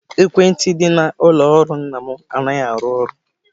Ekwentị dị n'ụlọ ọrụ nna m anaghị arụ ọrụ.